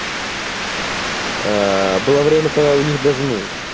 было время когда у них даже ну